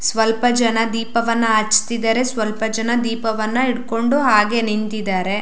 ಸ್ವಲ್ಪ ಜನ ದೀಪವನ್ನ ಹಚ್ಚತ್ತಿದ್ದರೆ ಸ್ವಲ್ಪ ಜನ ದೀಪವನ್ನ ಹಿಡಕೊಂಡು ಹಾಗೆ ನಿಂತಿದ್ದರೆ.